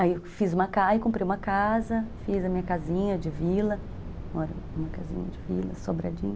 Aí eu fiz uma casa, comprei uma casa, fiz a minha casinha de vila, moro numa casinha de vila, sobradinho